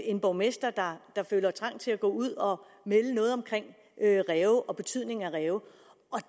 en borgmester der føler trang til at ud om ræve og betydningen af ræve